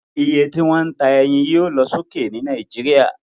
Oye tí wón ta eyin yio lo sókè ni Naijiria